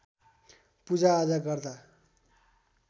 पूजाआजा गर्दा